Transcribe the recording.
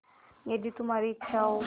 यदि तुम्हारी इच्छा हो